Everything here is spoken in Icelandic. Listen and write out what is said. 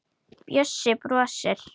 Bjössi brosir.